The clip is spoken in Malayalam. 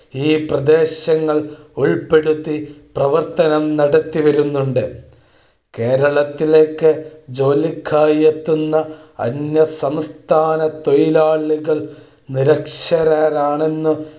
ഈ പ്രദേശങ്ങൾ ഉൽപ്പെടുത്തി പ്രവർത്തനം നടത്തിവരുന്നുണ്ട്. കേരളം ത്തിലേയ്ക്കു ജോലിക്കായി എത്തുന്ന അന്യസസ്ഥാന തൊഴിലാളികൾ നിരക്ഷരരാണെന്നു